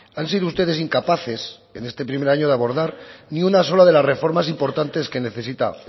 han sido ustedes incapaces en este primer año de abordar ni una sola de las reformas importantes que necesita